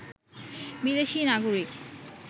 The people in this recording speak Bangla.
বিদেশি নাগরিক